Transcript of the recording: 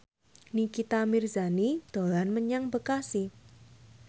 Nikita Mirzani dolan menyang Bekasi